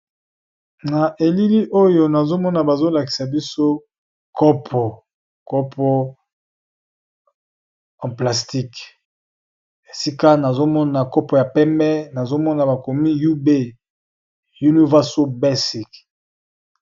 na elili oyo nazomona bazolakisa biso kopo kopo en plastique esika nazomona kopo ya peme nazomona bakomi ub univarso basic